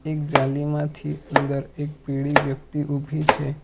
એક જાળીમાંથી અંદર એક પીળી વ્યક્તિ ઉભી છે.